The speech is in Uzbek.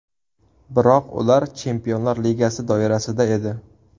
Biroq ular chempionlar ligasi doirasida edi.